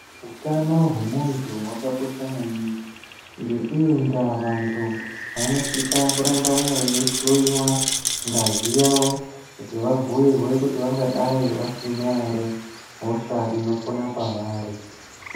Utano hwemuntu hwakakosha maningi. Ngeiyi ndaa vantu vanosisa kuramba veihloyiwa ngazi yavo kuti vabhuirwe kuti vangadai vasina here hosha inopona pavari.